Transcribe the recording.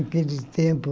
Naquele tempo,